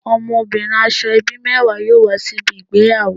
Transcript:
Omobirin Asoebi mewa yoo wa sibi igbeyawo